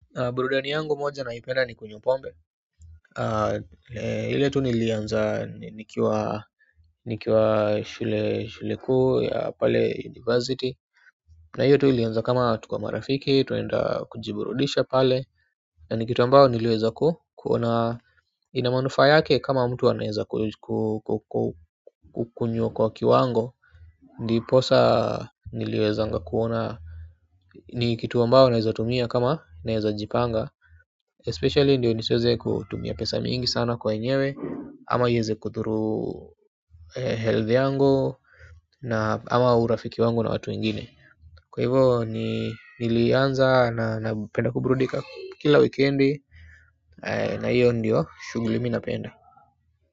Burudani yangu moja naipenda ni kunywa pombe ile tu nilianza nikiwa nikiwa shule shule kuu ya pale university na hiyo tu ilianza kama tuko marafiki tunaenda kujiburudisha pale na ni kitu ambao niliweza ku kuona ina manufaa yake kama mtu anaeza kukunywa kwa kiwango ndiposa niliwezanga kuona ni kitu ambao naeza tumia kama naeza jipanga especially ndio nisiweze kutumia pesa mingi sana kwa enyewe ama ieze kudhuru health yangu na ama urafiki wangu na watu wengine kwa hivyo ni nilianza na napenda kuburudika kila wikendi na hio ndio shughuli mi napenda.